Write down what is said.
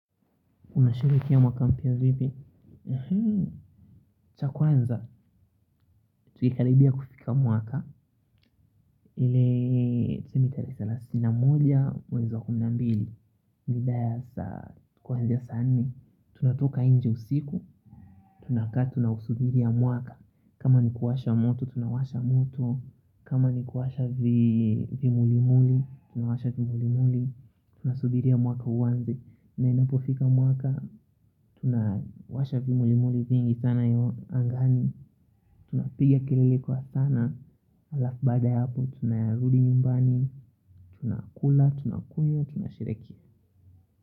Unasherehekea mwaka mpya vipi? Chakwanza, tukikaribia kufika mwaka. Ile, tuseme tarehe salasini na moja, mwezi wa kumi na mbili. Mida ya saa, kuanzia saa nne. Tunatoka nje usiku, tunakaa tuna usubiria mwaka. Kama ni kuwasha moto, tunawasha moto. Kama ni kuwasha vimulimuli, tunawasha vimuli muli. Tunasubiria mwaka uanze. Na inapofika mwaka tunawasha vimuli muli vingi sana angani. Tunapiga kelele kwa sana halafu baada ya hapo tunarudi nyumbani. Tunakula, tunakunywa, tunasherehekea.